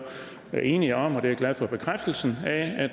er enige om er jeg glad for bekræftelsen af